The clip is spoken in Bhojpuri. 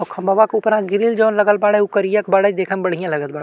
औ खंभवा के उपरा ग्रिल जौन लगल बाड़े उ करिया क बाड़े देखे मे बढियाँ लगत बाड़ --